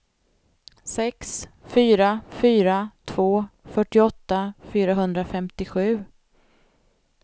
sex fyra fyra två fyrtioåtta fyrahundrafemtiosju